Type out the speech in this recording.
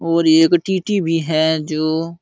और एक टीटी भी है जो --